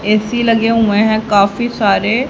AC लगे हुए है काफी सारे--